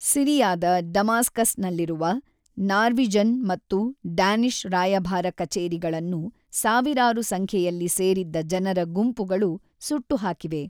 ಸಿರಿಯಾದ ಡಮಾಸ್ಕಸ್‌ನಲ್ಲಿರುವ ನಾರ್ವೀಜನ್ ಮತ್ತು ಡ್ಯಾನಿಷ್ ರಾಯಭಾರ ಕಚೇರಿಗಳನ್ನು ಸಾವಿರಾರು ಸಂಖ್ಯೆಯಲ್ಲಿ ಸೇರಿದ್ದ ಜನರ ಗುಂಪುಗಳು ಸುಟ್ಟು ಹಾಕಿವೆ.